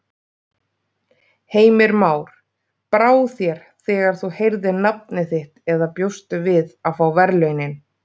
Heimir Már: Brá þér þegar þú heyrðir nafnið þitt eða bjóstu við að fá verðlaunin?